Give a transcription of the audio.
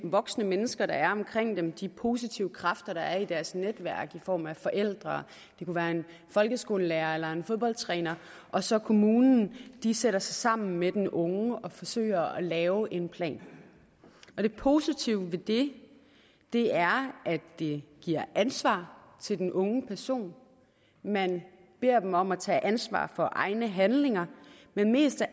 voksne mennesker der er omkring dem de positive kræfter der er i deres netværk i form af forældre eller en folkeskolelærer eller en fodboldtræner og så kommunen sætter sig sammen med den unge og forsøger at lave en plan det positive ved det det er at det giver ansvar til den unge person man beder dem om at tage ansvar for egne handlinger men mest af